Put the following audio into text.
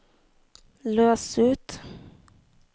løs ut